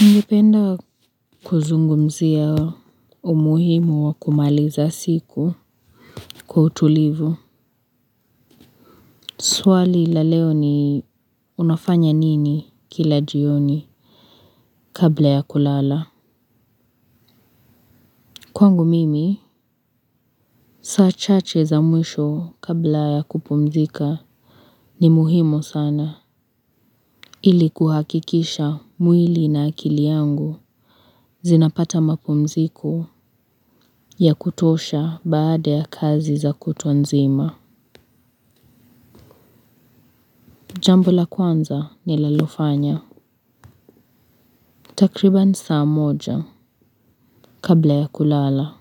Naipenda kuzungumzia umuhimu wa kumaliza siku kwa utulivu. Swali la leo ni unafanya nini kila jioni kabla ya kulala. Kwangu mimi, saa chache za mwisho kabla ya kupumzika ni muhimu sana. Ili kuhakikisha mwili na akili yangu zinapata mapumziko ya kutosha baada ya kazi za kutwa nzima. Jambo la kwanza nililofanya. Takriban saa moja kabla ya kulala.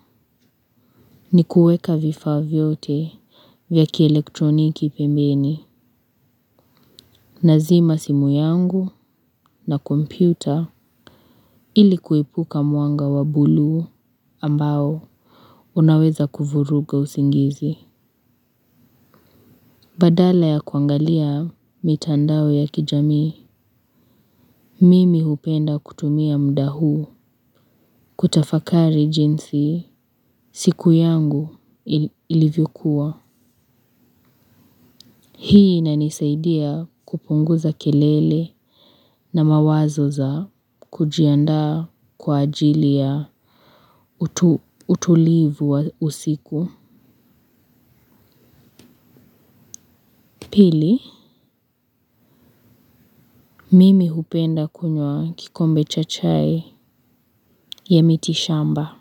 Ni kueka vifa vyote vyaki elektroniki pembeni. Nazima simu yangu na kompyuta ilikuepuka mwanga wa bulu ambao unaweza kuvuruga usingizi. Badala ya kuangalia mitandao ya kijami, mimi hupenda kutumia muda huu kutafakari jinsi siku yangu ilivyokua. Hii inanisaidia kupunguza kelele na mawazo za kujianda kwa ajili ya utulivu wa usiku. Pili, mimi hupenda kunywa kikombe cha chai ya miti shamba,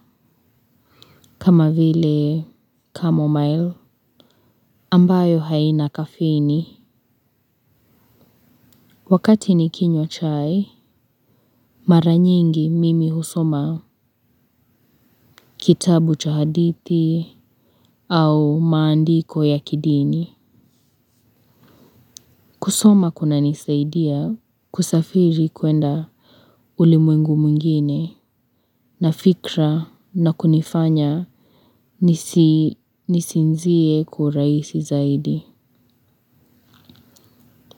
kama vile, kamamoyo, ambayo haina kafeni. Wakati nikinywa chai, mara nyingi mimi husoma kitabu cha hadithi au maandiko ya kidini. Kusoma kuna nisaidia kusafiri kuenda ulimwengu mwingine nafikra na kunifanya nisinzie urahisi zaidi.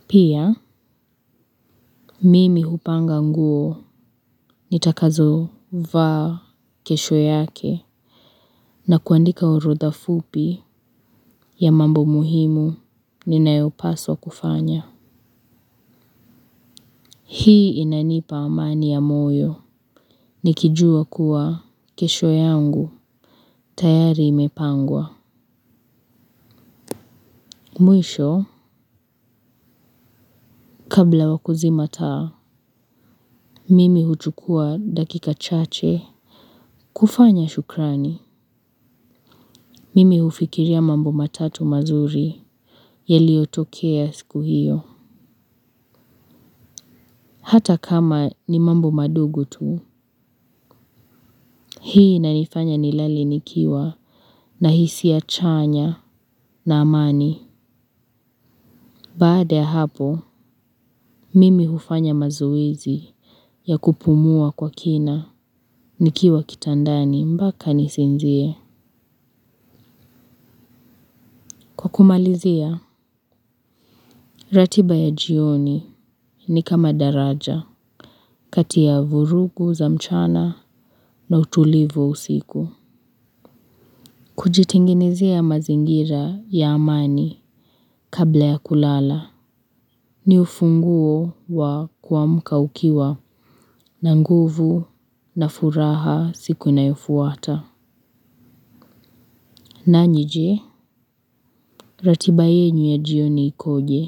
Pia mimi hupanga nguo nitakazo vaa kesho yake na kuandika orodha fupi ya mambo muhimu ninayopaswa kufanya. Hii inanipa amani ya moyo ni kijua kuwa kesho yangu tayari imepangwa. Mwisho, kabla wakuzima taa, mimi huchukua dakika chache. Kufanya shukrani, mimi hufikiria mambo matatu mazuri yaliyotokea siku hiyo. Hata kama ni mambo madogo tu, hii inanifanya nilale nikiwa na hisia chanya na amani. Baada ya hapo, mimi hufanya mazoezii ya kupumua kwa kina, nikiwa kitandani mpaka nisinzie. Kwa kumalizia, ratiba ya jioni ni kama daraja, kati ya vurugu za mchana na utulivu usiku. Kujitengenezea mazingira ya amani kabla ya kulala, ni ufunguo wa kuamka ukiwa na nguvu na furaha siku inayofuata. Nanyi je? Ratiba yenu ya jioni ikoje.